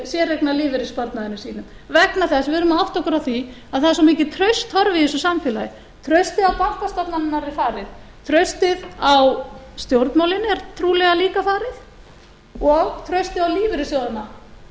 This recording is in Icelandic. séreignarlífeyrissparnaðinum sínum vegna þess og við verðum að átta okkur á því að það er svo mikið traust horfið í þessu samfélagi traustið á bankastofnunum er farið traustið á stjórnmálin er trúlega líka farið og traustið á lífeyrissjóðina